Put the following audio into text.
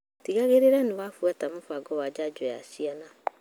Tigĩrĩra niwafuata mũbango wa janjo ya ciana.